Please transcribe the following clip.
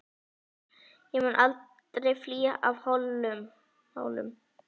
Ég mun aldrei flýja frá Hólum!